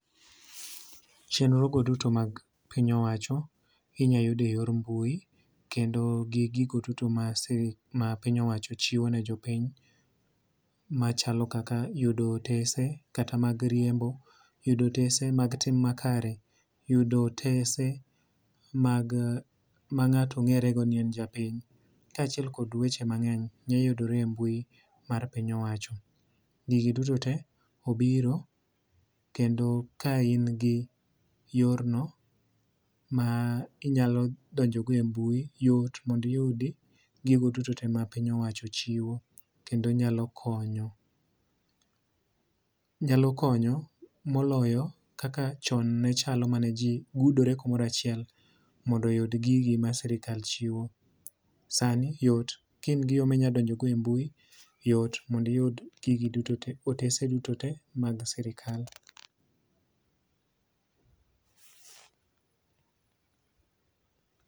Chenro go duto mag piny owacho inya yud e yor mbui kendo gi gigo duto ma piny owacho chiwo ne jo piny machalo kaka yudo otese kata mag riembo, yudo otese mag tim makare. Yudo otese ma ng'ato ng'ere go ni en japiny. Kachiel kod weche mang'eny nya yudore e mbui mar piny owacho. Gigi duto te obiro kendo ka in gi yor no ma inyalo donjo go e mbui yot mond iyudi gigo duto te ma piny owacho chiwo kendo nyalo konyo. Nyalo konyo moloyo kaka chon mane ji gudore kumoro achiel mondo oyud gigi ma sirkal chiwo. Sani yot ka in gi yo ma inyalo donjo go e mbui yot mond iyud gigi duto te otese duto te mag sirkal.